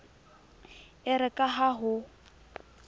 e re ka ha ho